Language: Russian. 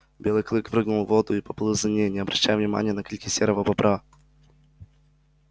белый клык прыгнул в воду и поплыл за ней не обращая внимания на крики серого бобра